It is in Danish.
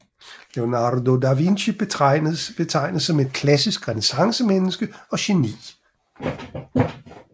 Leonardo da Vinci betragtes som et klassisk renæssancemenneske og geni